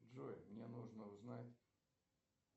джой мне нужно узнать